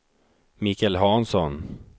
Michael Hansson